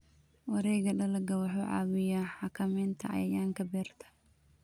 Wareegga dalagga wuxuu caawiyaa xakameynta cayayaanka beerta.